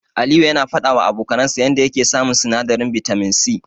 Aliyu yana faɗawa abokansa yanda yake samun sinadarin bitamin C.